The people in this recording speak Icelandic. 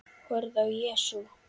Horfði á Jesú.